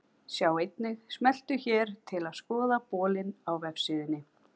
Sjá einnig: Smelltu hér til að skoða bolinn á vefsíðunni.